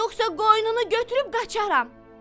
Yoxsa qoynunu götürüb qaçaram!"